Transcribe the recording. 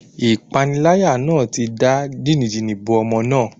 Ìpániláyà náà ti da jìnì-jìnì bo ọmọ náà.